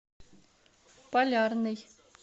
полярный